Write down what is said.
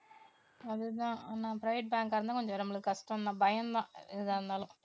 அதுதான் ஆனா private bank ஆ இருந்தா கொஞ்சம் நம்மளுக்கு கஷ்டம்தான் பயம்தான் எதாயிருந்தாலும்.